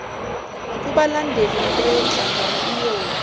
kubalandeli leyonhlangano iyowa